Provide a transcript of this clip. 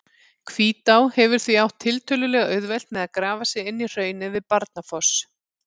Hvítá hefur því átt tiltölulega auðvelt með að grafa sig inn í hraunið við Barnafoss.